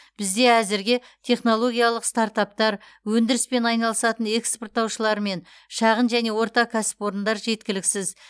бізде әзірге технологиялық стартаптар өндіріспен айналысатын экспорттаушылар мен шағын және орта кәсіпорындар жеткіліксіз